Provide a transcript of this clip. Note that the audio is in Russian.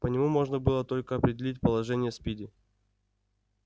по нему можно было только определить положение спиди